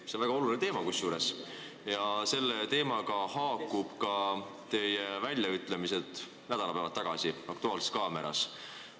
See on väga oluline teema, millega haakuvad ka teie väljaütlemised nädalapäevad tagasi "Aktuaalses kaameras".